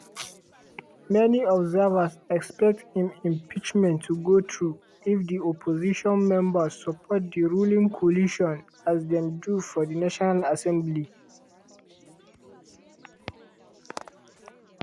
many observers expect im impeachment to go through if di opposition members support di ruling coalition as dem do for di national assembly.